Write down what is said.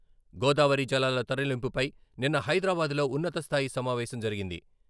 గోదావరి జలాల తరలింపుపై నిన్న హైదరాబాద్ లో ఉన్నతస్థాయి సమావేశం జరిగింది.